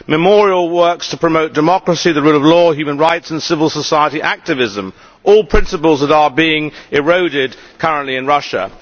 Memorial works to promote democracy, the rule of law, human rights and civil society activism all principles that are being eroded currently in Russia.